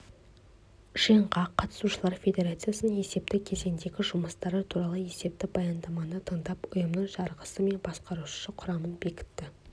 жиынға қатысушылар федерацияның есепті кезеңдегі жұмыстары туралы есепті баяндаманы тыңдап ұйымның жарғысы мен басқарушы құрамын бекітті